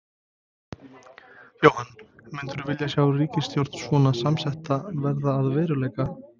Jóhann: Myndirðu vilja sjá ríkisstjórn svona samsetta verða að veruleika?